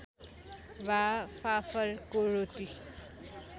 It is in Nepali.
वा फाफरको रोटी